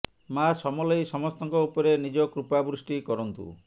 ମାଆ ସମଲେଇ ସମସ୍ତଙ୍କ ଉପରେ ନିଜ କୃପା ବୃଷ୍ଟି କରନ୍ତୁ